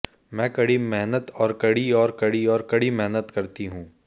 मैं कड़ी मेहनत और कड़ी और कड़ी और कड़ी मेहनत करती हूं